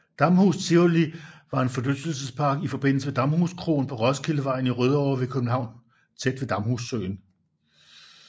Damhus Tivoli var en forlystelsespark i forbindelse med Damhuskroen på Roskildevejen i Rødovre ved København tæt ved Damhussøen